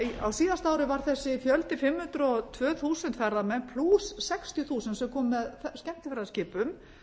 á síðasta ári var þessi fjöldi fimm hundruð og tvö þúsund ferðamenn plús sextíu þúsund sem komu með skemmtiferðaskipum